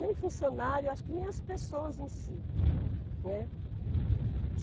Nem funcionário, acho que nem as pessoas em si, né.